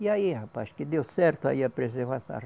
E aí, rapaz, que deu certo aí a preservação.